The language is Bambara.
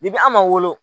an ma wolo